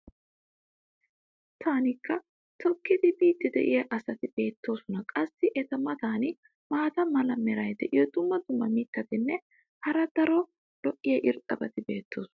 makkiinaa toggidi biidi diya asati beetoosona. qassi eta matan maata mala meray diyo dumma dumma mitatinne hara daro lo'iya irxxabati beetoosona.